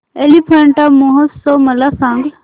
एलिफंटा महोत्सव मला सांग